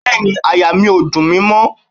Bẹ́ẹ̀ni, àyà mi ò dùn mi mọ́